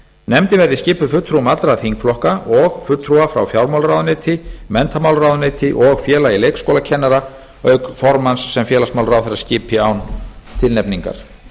nefndin verði skipuð fulltrúum allra þingflokka og fulltrúa frá fjármálaráðuneyti menntamálaráðuneyti og félagi leikskólakennara auk formanns sem félagsmálaráðherra skipi án tilnefningar